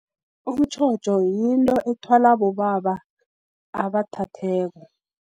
Umtjhotjho, yinto ethwala bobaba abathatheko